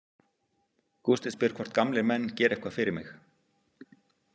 Gústi spyr hvort gamlir menn geri eitthvað fyrir mig.